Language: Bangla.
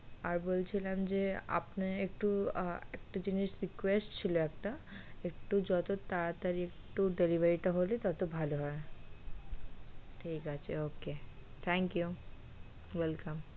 আর বলছিলাম যে আপনি একটু আহ একটু জিনিস request ছিল একটা একটু যত তাড়াতাড়ি একটু delivery তা হলে তত ভালো হয় ঠিক আছে okay thankyou, welcome.